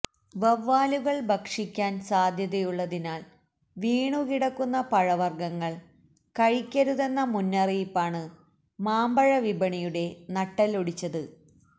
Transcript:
വവ്വാലുകള് ഭക്ഷിക്കാന് സാധ്യതയുള്ളതിനാല് വീണുകിടക്കുന്ന പഴവര്ഗങ്ങള് കഴിക്കരുതെന്ന മുന്നറിയിപ്പാണ് മാമ്പഴ വിപണിയുടെ നട്ടെല്ലൊടിച്ചത്